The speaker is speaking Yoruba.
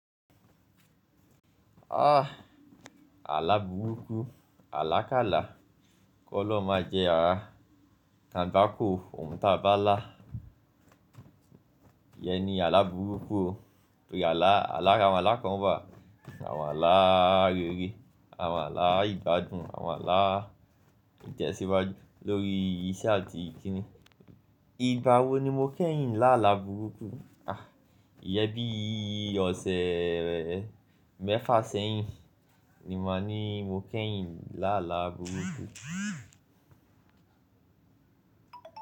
Áà! Àlá burúkú, àlákálàá, k'Ọlọ́un máa jẹ́ aá. Kàgbákò, ohun táa bá lá. Ìyẹn ni àlá burúkú o, torí àlá, lára àwọn àlá kan wà, àwọn àlá rere, àwọn àlá ìgbádùn, àwọn àlá ìtẹ̀síwájú lórí iṣẹ́ àti kinní. Igba wo ni mo kẹ́yìn lá àlá burúkú? Àà! Ìyẹn bí i ọ̀sẹ̀ mẹ́fà sẹ́yìn ni máa ní mo kẹ́yìn lá àlá burúkú.